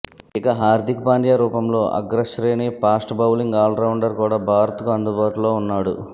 ఇక హార్దిక్ పాండ్య రూపంలో అగ్రశ్రేణి ఫాస్ట్ బౌలింగ్ ఆల్రౌండర్ కూడా భారత్కు అందుబాటులో ఉన్నాడు